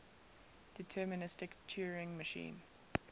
deterministic turing machine